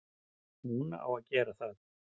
Hún á að gera það.